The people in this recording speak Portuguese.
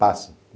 Passa.